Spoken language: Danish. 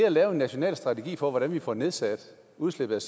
at lave en national strategi for hvordan vi får nedsat udslippet